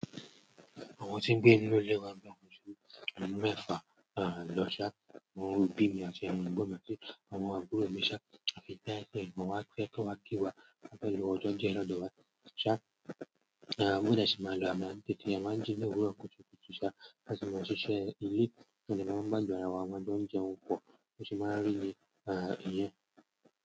Àwọn tí ń gbé ínú ilé wa a ju méfà lọ́ṣàá. Àwọn obì mi àti àwọn egbon mi àti àwọn àbúrò mi ṣá, àfi to ba je pe ẹgbon wá kan fe wá kí wa. Ti a kan lo ọjọ́ díẹ̀ lodo wa ṣá. Mọdẹ sí máa lọ àmọ mi tí e máa ń jí ní òwúrọ̀ kùtùkùtù ṣá. Nigbati mo ṣiṣẹ́ ilé, tí mo de máa ń gbàdun ara wa amá jo n jẹun po, bí o ṣe máa n rí i, niyen.